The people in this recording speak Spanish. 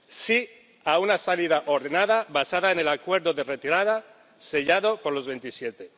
Sí a una salida ordenada, basada en el Acuerdo de Retirada sellado por los Veintisiete.